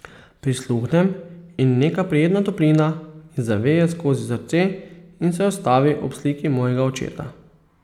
Prisluhnem in neka prijetna toplina mi zaveje skozi srce in se ustavi ob sliki mojega očeta.